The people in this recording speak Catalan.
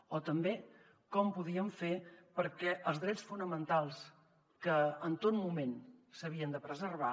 o també com ho podíem fer perquè els drets fonamentals que en tot moment s’havien de preservar